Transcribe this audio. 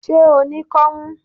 Ṣé o ní kọ́mú?